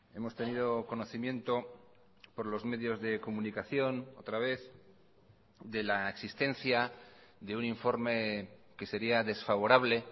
hemos tenido conocimiento por los medios de comunicación otra vez de la existencia de un informe que sería desfavorable